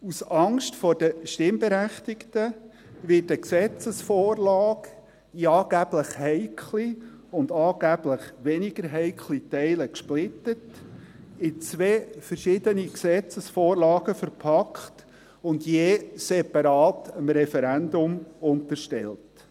Aus Angst vor den Stimmberechtigten wird eine Gesetzesvorlage in angeblich heikle und angeblich weniger heikle Teile gesplittet, in zwei verschiedene Gesetzesvorlagen verpackt und je separat dem Referendum unterstellt.